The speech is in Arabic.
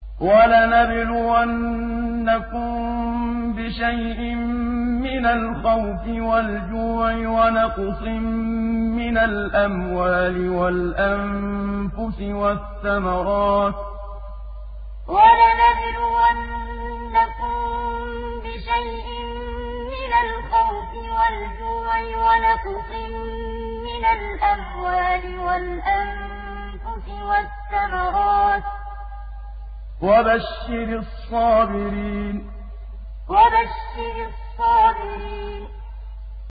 وَلَنَبْلُوَنَّكُم بِشَيْءٍ مِّنَ الْخَوْفِ وَالْجُوعِ وَنَقْصٍ مِّنَ الْأَمْوَالِ وَالْأَنفُسِ وَالثَّمَرَاتِ ۗ وَبَشِّرِ الصَّابِرِينَ وَلَنَبْلُوَنَّكُم بِشَيْءٍ مِّنَ الْخَوْفِ وَالْجُوعِ وَنَقْصٍ مِّنَ الْأَمْوَالِ وَالْأَنفُسِ وَالثَّمَرَاتِ ۗ وَبَشِّرِ الصَّابِرِينَ